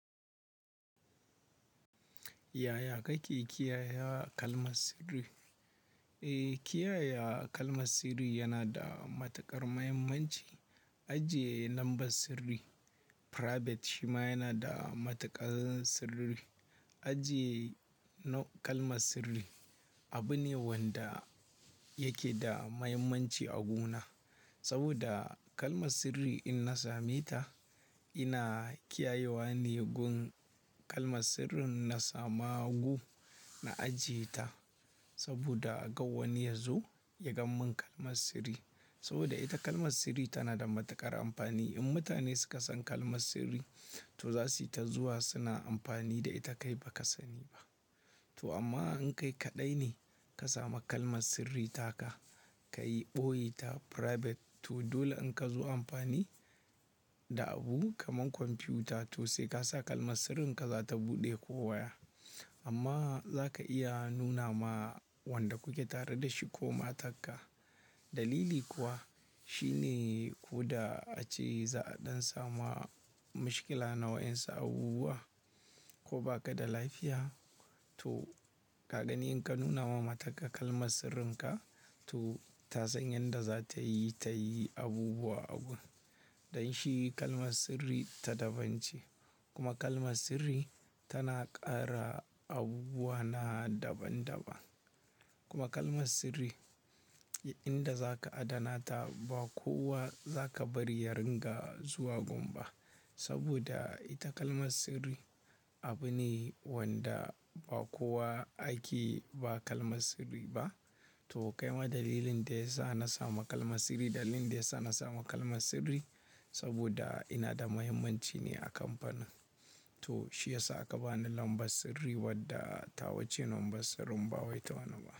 Yaya kake kiyaye kalmar sirri? Eh, kiyaye kalmar sirri yana da matuƙar muhimmanci. Ajiye lambar sirri private shima yana da matuƙar sirri. Ajiye kalmar sirri abu ne wanda yake da muhimmanci a wuri na, saboda kalmar sirri idan na same ta, ina kiyayewa ne wurin kalmar sirrin in sami wuri in ajiye ta. Saboda kada wani yazo ya ga min kalmar sirri na. Saboda ita kalmar sirri tana da matuƙar amfani. Idan mutane suka san kalmar sirri to za su yi ta zuwa suna amfani da ita kai ba ka sani ba. To amma in kai kaɗai ne ka samu kalmar sirri taka ka ɓoye ta private to dole in ka zo amfani da abu kamar kwamfiyuta to sai ka saka kalmar sirrinka za ta buɗe ko waya. Amma za ka iya nuna ma wanda kuke tare da shi ko matarka. Dalili kuwa shine ko da ace za'a ɗan samu matsala na wayansu abubuwa ko baka da lafiya to ka gani indan ka nuna wa matarka kalmar sirrinka to ta san yadda za ta yi, ta yi abubuwa a wurin. Don shi kalmar sirri ta daban ce kuma kalmar sirri tana ƙara abubuwa na daban-daban. Kuma kalmar sirri wurin da za ka adana ta ba kowa za ka bari ya rika zuwa wurin ba. Saboda ita kalmar sirri abu ne wanda ba kowa ake bawa kalmar sirri ba. To kai ma dalilin da ya sa na samu kalmar sirri, dalilin da ya sa na samu kalmar sirri saboda ina da muhimmanci ne a kamfanin. To shi ya sa aka bani lambar sirri wadda tawa ce lambar sirrin ba wai ta wani ba.